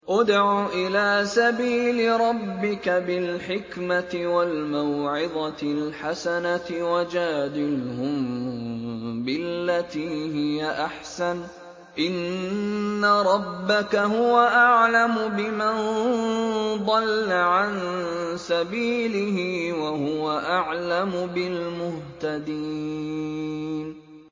ادْعُ إِلَىٰ سَبِيلِ رَبِّكَ بِالْحِكْمَةِ وَالْمَوْعِظَةِ الْحَسَنَةِ ۖ وَجَادِلْهُم بِالَّتِي هِيَ أَحْسَنُ ۚ إِنَّ رَبَّكَ هُوَ أَعْلَمُ بِمَن ضَلَّ عَن سَبِيلِهِ ۖ وَهُوَ أَعْلَمُ بِالْمُهْتَدِينَ